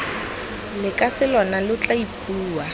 lekase lona lo tla ipua